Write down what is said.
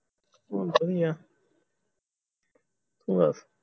ਕੋਈ ਆ ਹੋਰ